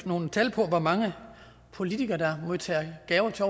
nogle tal på hvor mange politikere der modtager gaver til